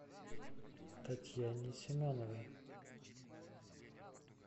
татьяне семеновой